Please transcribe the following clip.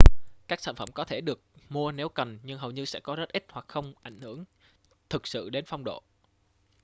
các sản phẩm có thể được mua nếu cần nhưng hầu như sẽ có rất ít hoặc không ảnh hưởng thực sự đến phong độ